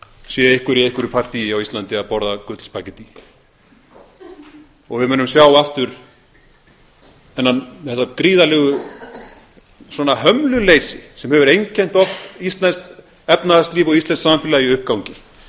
sé einhver í einhverju partíi á íslandi að borða gullspaghettí og við munum sjá aftur þetta gríðarlegu hömluleysi sem hefur einkennt oft íslenskt efnahagslíf og íslenskt samfélag í uppgangi